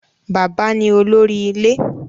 Bàbá ní olórí ilé